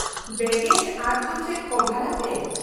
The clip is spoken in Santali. -ᱵᱮᱜᱮᱡ ᱟᱫ ᱫᱚ ᱪᱮᱫ ᱠᱚᱵᱷᱟᱨᱟᱯᱮ ?